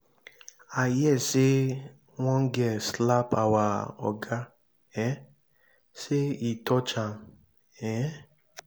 i hear say one girl slap our oga um say he touch am. um